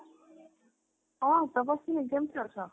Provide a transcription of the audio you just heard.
ହଁ ତପସ୍ଵିନୀ କେମିତି ଅଛ?